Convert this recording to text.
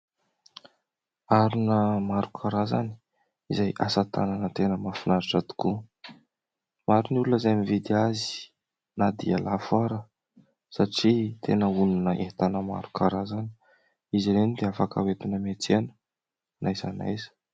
Harona maro karazany izay asatanana tena mahafinaritra tokoa. Maro ny olona izay mividy azy na dia lafo aza satria tena onona entana maro karazany. Izy ireny dia afaka hoentina miantsena na aiza na aiza.